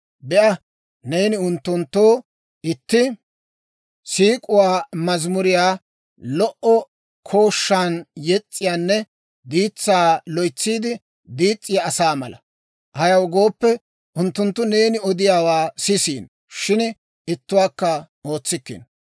Be'a, neeni unttunttoo itti siik'uwaa mazamuriyaa lo"o kooshshan yes's'iyaanne diitsaa loytsiide diis's'iyaa asaa mala. Ayaw gooppe, unttunttu neeni odiyaawaa sisiino; shin ittuwaakka ootsikkino.